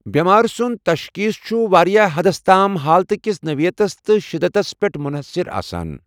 بیمارِ سُند تشخیٖص چھِ واریٛاہ حدَس تام حالتٕ كِس نوِیتس تہٕ شِدتس پیٹھ مٗنحصر آسان ۔